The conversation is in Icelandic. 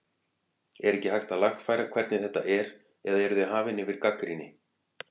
En er ekkert hægt að lagfæra hvernig þetta er eða eruð þið hafin yfir gagnrýni?